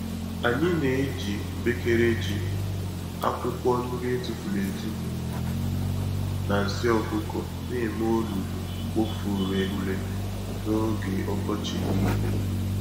Anyị n'eji mkpekele ji, akwụkwọ nri etufuru-etufu na nsị ọkụkọ némè' olulu-mkpofu-ureghure n'oge ọkọchị nile.